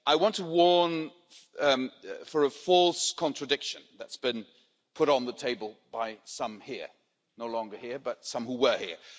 I want to warn of a false contradiction that's been put on the table by some here, no longer here but some who were here.